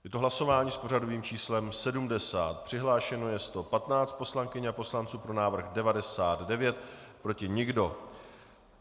Je to hlasování s pořadovým číslem 70, přihlášeno je 115 poslankyň a poslanců, pro návrh 99, proti nikdo.